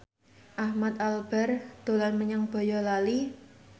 Ahmad Albar dolan menyang Boyolali